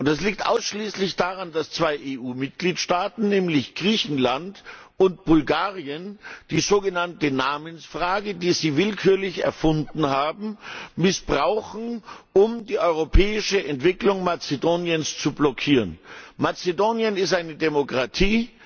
Und das liegt ausschließlich daran, dass zwei EU Mitgliedstaaten nämlich Griechenland und Bulgarien die sogenannte Namensfrage, die sie willkürlich erfunden haben, missbrauchen, um die europäische Entwicklung Mazedoniens zu blockieren. Mazedonien ist eine Demokratie.